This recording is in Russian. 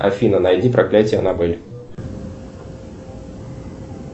афина найди проклятие анабель